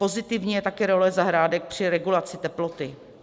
Pozitivní je také role zahrádek při regulaci teploty.